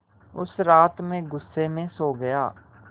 उस रात मैं ग़ुस्से में सो गया